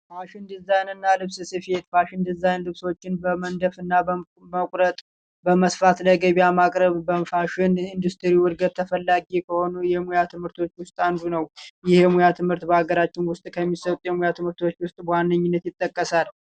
ፋሽን ዲዛይን እና ልብስ ስፌት ፋሽን ዲዛይን ልብሶችን በመንደፍና በመቁረጥ በመስፋፋት ላይ ገበያ ማቅረብ በፋሽን እንዱስትሪ እድገት ተፈላጊ ከሆኑ የሙያ ትምህርቶችን ውስጥ አንዱ ነው። ይህ የሙያ ትምህርት በአገራችን ውስጥ ከሚሰሩ የሙያ ትምህርቶች ውስጥ በዋነኝነት ይጠቀሳል።